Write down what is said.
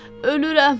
Ölürəm.